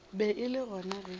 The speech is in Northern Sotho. be e le gona ge